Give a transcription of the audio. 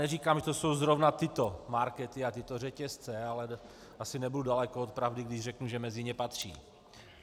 Neříkám, že to jsou zrovna tyto markety a tyto řetězce, ale asi nebudu daleko od pravdy, když řeknu, že mezi ně patří.